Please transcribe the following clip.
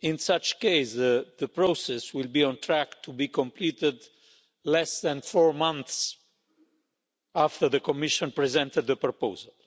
In such a case, the process will be on track to be completed less than four months after the Commission presented the proposal.